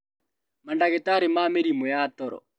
Mandagĩtarĩ ma mĩrimũ ya toro